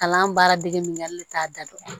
Kalan baara dege min kɛ hali ne t'a da dɔn